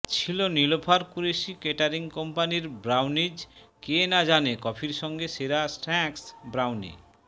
ছিল নীলোফার কুরেশি কেটারিং কোম্পানির ব্রাউনিজ কে না জানে কফির সঙ্গে সেরা স্ন্যাক্স ব্রাউনি